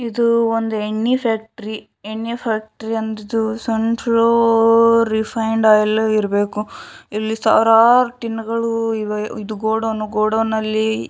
ಇದು ಒಂದು ಎಣ್ಣೆ ಫ್ಯಾಕ್ಟರಿ ಎಣ್ಣೆ ಫ್ಯಾಕ್ಟರಿ ಅಂದರೆ ಸನ್‌ ಫೋರ್ಲ್‌ ರಿಫೈಂಡ್‌ ಆಯಿಲ್‌ ಇರಬೇಕು ಇಲ್ಲಿ ಸಾವಿರಾರು ಟಿನ್‌ಗಳು ಇದೆ ಇದು ಗೋಡನ್‌ ಗೋಡನ್‌ನಲ್ಲಿ --